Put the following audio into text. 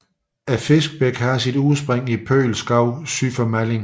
Fiskbækken har sit udspring i Pøel Skov syd for Malling